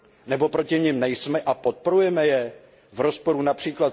Nebo proti nim nejsme a podporujeme je, v rozporu např.